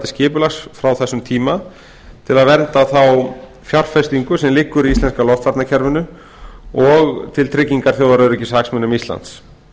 skipulags frá þessum tíma til að vernda þá fjárfestingu sem liggur í íslenska loftvarnakerfinu og til tryggingar þjóðaröryggishagsmunum íslands